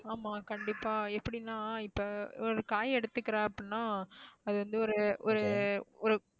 ஆமா கண்டிப்பா எப்படின்னா இப்ப ஒரு காய் எடுத்துக்கிறேன் அப்படின்னா அது வந்து ஒரு ஒரு ஒரு